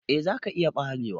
Eh za ka iya barewa.